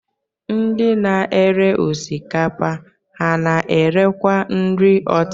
Ndị na-ere osikapa, ha na-erekwu nri ọtịta?